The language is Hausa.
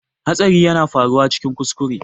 Hatsari yana faruwa cikin kuskure